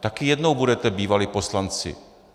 Taky jednou budete bývalí poslanci.